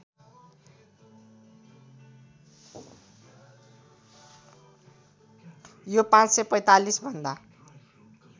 यो ५४५ भन्दा